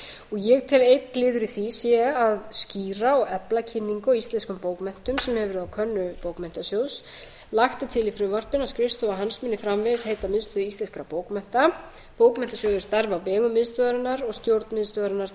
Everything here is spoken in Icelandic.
ég tel að einn liður í því sé að skýra og efla kynningu á íslenskum bókmenntum sem hefur verið á könnu bókmenntasjóðs lagt er til í frumvarpinu að skrifstofa hans muni framvegis heita miðstöð íslenskra bókmennta bókmenntasjóður starfi á vegum miðstöðvarinnar og stjórn miðstöðvarinnar